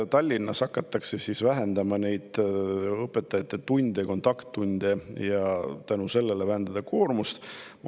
Tallinnas hakatakse vähendama õpetajate kontakttunde, et sel viisil vähendada koormust.